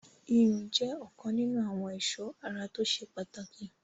iyùn jẹ́ ọ̀kan nínu àwọn ẹ̀sọ́ ara tó ṣe pàtàkì